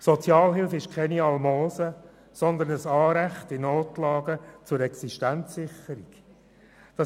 Die Sozialhilfe ist kein Almosen, sondern ein Anrecht auf Existenzsicherung in Notlagen.